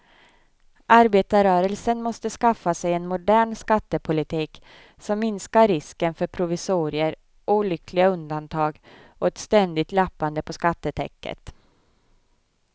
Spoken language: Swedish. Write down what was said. Arbetarrörelsen måste skaffa sig en modern skattepolitik som minskar risken för provisorier, olyckliga undantag och ett ständigt lappande på skattetäcket.